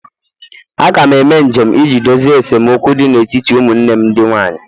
Aga m eme njem iji dozie esemokwu dị n'etiti ụmụnne m ndị nwanyị